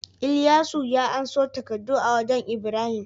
Ilyasu ya anso takaddu a wajan ibrahim